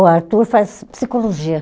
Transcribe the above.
O Arthur faz psicologia.